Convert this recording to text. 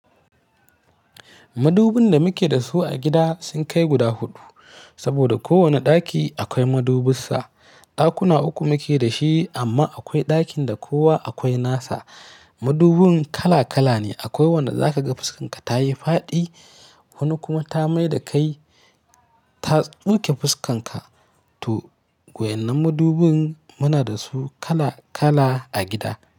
Madubin da muke da su a gida sun kai guda huɗu, saboda kowane ɗaki akwai madubinsa. Ɗakuna uku muke da shi amma akwai ɗakin da kowa akwai nasa. Madubin kala-kala ne. Akwai wanda za ka ga fuskarka ta yi faɗi, wani kuma ta mai da kai ta ɗauke fuskarka. To, wayannan madubin muna da su kala-kala a gida.